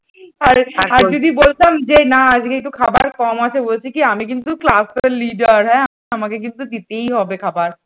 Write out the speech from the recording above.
আর আর যদি বলতাম যে না আজকে একটু খাবার কম আছে ও বলছে কি আমি কিন্তু class র leader হ্যাঁ আমাকে কিন্তু দিতেই হবে খাবার।